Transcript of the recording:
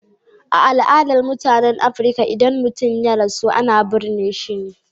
A al'adun mutanen Afrika, idan mutum ya rasu, ana burne su.